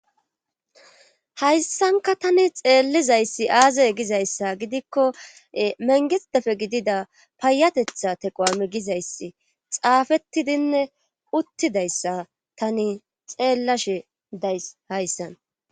hayssanka tani xeellizayssi aazay gizayssa gidikko mengexdefe gidida payatetha teqo7ame gizayssi xaafettidinne uttidayssa tani xeellashe days hayssan